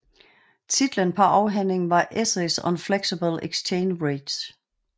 Titlen på afhandlingen var Essays on flexible exchange rates